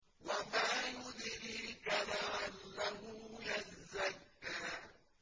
وَمَا يُدْرِيكَ لَعَلَّهُ يَزَّكَّىٰ